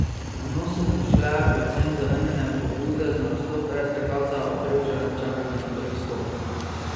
V nos so mu šle predvsem zavrnjene pobude za nastop predskakalca ob Prevčevem čakanju na prvi skok.